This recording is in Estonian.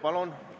Kohaloleku kontroll